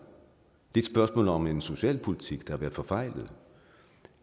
og om en socialpolitik der har været forfejlet og